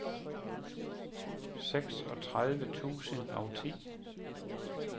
seksogtredive tusind og ti